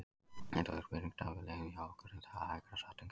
Þetta vill spyrjandi að við leiðum hjá okkur en það er hægara sagt en gert.